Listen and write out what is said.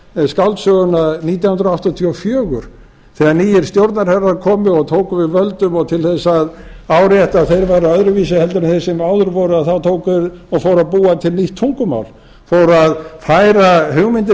á skáldsöguna nítján hundruð áttatíu og fjögur þegar nýir stjórnarherrar komu og tóku við völdum og til þess að árétta að þeir væru öðruvísi heldur en þeir sem áður voru þá tóku þeir og fóru að búa til nýtt tungumál fóru að færa hugmyndir